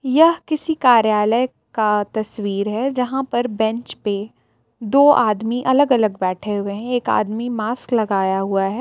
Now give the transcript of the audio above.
यह किसी कार्यालय का तस्वीर हे जहाँ पर बेंच पे दो आदमी अलग अलग बैठे हुए हे एक आदमी मास्क लगाया हुआ हे.